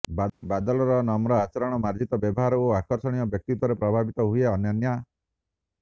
ବାଦଲର ନମ୍ର ଆଚରଣ ମାର୍ଜିତ ବ୍ୟବହାର ଓ ଆକର୍ଷଣୀୟ ବ୍ୟକ୍ତିତ୍ୱରେ ପ୍ରଭାବିତ ହୁଏ ଅନନ୍ୟା